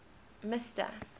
mister